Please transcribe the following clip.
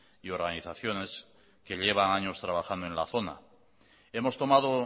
y organizaciones que llevan años trabajando en la zona hemos tomado